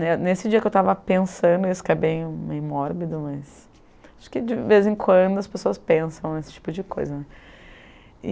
Nesse dia que eu estava pensando isso, que é bem mórbido, mas acho que de vez em quando as pessoas pensam nesse tipo de coisa né.